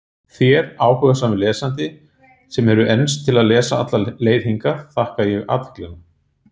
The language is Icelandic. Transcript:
Þér, áhugasami lesandi, sem hefur enst til að lesa alla leið hingað, þakka ég athyglina.